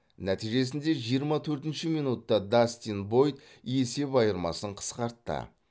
нәтижесінде жиырма төртінші минутта дастин бойд есеп айырмасын қысқартты